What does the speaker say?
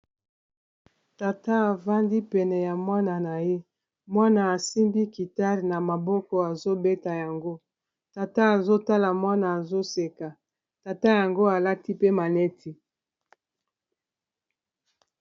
tata afandi pene ya mwana na ye mwana asimbi kitale na maboko azobeta yango tata azotala mwana azoseka tata yango alati pe maneti